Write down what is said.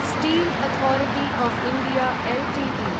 steel authority of India Ltd